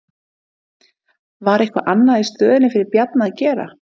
Var eitthvað annað í stöðunni fyrir Bjarna að gera?